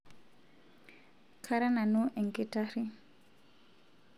kara nanu enkitarri